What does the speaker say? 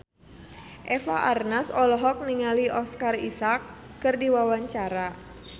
Eva Arnaz olohok ningali Oscar Isaac keur diwawancara